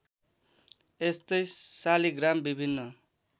यस्तै शालिग्राम विभिन्न